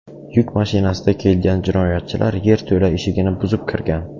Yuk mashinasida kelgan jinoyatchilar yerto‘la eshigini buzib kirgan.